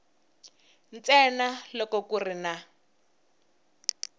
ntsena loko ku ri na